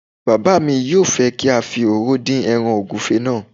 Bàbá mi yóò fẹ́ kí a fi òróró dín ẹràn ògúnfe náà